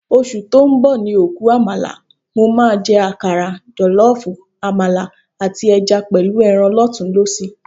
Oṣù tó ń bọ̀ ni òkú àmàlà. Mo máa jẹ àkàrà, jọ̀lọ́ọ̀fọ̀, àmàlà, àti ẹja pẹ̀lú ẹran lọ́tùnún-lósì